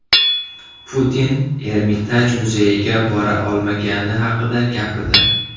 Putin Ermitaj muzeyiga bora olmagani haqida gapirdi.